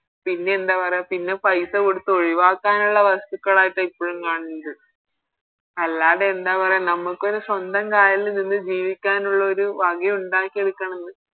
പിന്നെ എന്താ പറയാ പിന്നെ പൈസ കൊടുത്ത് ഒഴിവാക്കാനുള്ള വസ്തുക്കളായിട്ടാണ് ഇപ്പോഴും കാണുന്നത് അല്ലാതെ എന്താ പറയാ നമുക്കൊര് സ്വന്തം കാലില് നിന്ന് ജീവിക്കാനുള്ള ഒരു വക ഉണ്ടാക്കിയെടുക്കണെന്ന്